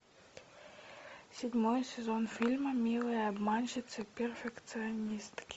седьмой сезон фильма милые обманщицы перфекционистки